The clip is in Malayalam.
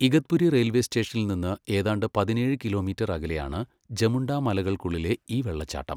ഇഗത്പുരി റെയിൽവേ സ്റ്റേഷനിൽ നിന്ന് ഏതാണ്ട് പതിനേഴ് കിലോമീറ്റർ അകലെയാണ്, ജമുണ്ടാമലകൾക്കുള്ളിലെ ഈ വെള്ളച്ചാട്ടം.